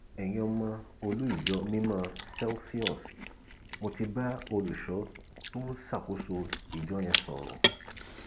ẹyin ọmọ olú ìjọ mímọ celsius mo ti bá olùṣọ tó ń ṣàkóso ìjọ yẹn sọrọ